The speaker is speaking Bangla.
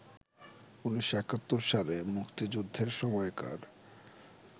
১৯৭১ সালে মুক্তিযুদ্ধের সময়কার